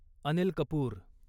Anil Kapoor